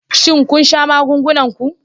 Shin kun sha magungunan ku?